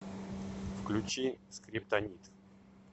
включи скриптонит